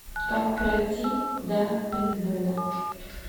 как пройти до пейнтбола